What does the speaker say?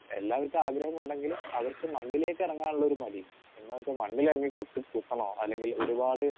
speaker 2 എല്ലാവർക്കും ആഗ്രഹമുണ്ടെങ്കിലും അവർക്ക് മണ്ണിലേക്ക് ഇറങ്ങാനുള്ളൊരു മടി എന്ന് വെച്ച് മണ്ണിലിറങ്ങി കുത്ത് കുത്തണോ അല്ലെങ്കിൽ ഒരുപാട്